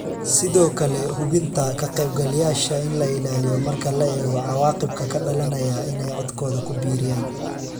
Sidoo kale hubinta ka qaybgalayaasha in la ilaaliyo marka la eego cawaaqibka ka dhalanaya inay codkooda ku biiriyaan.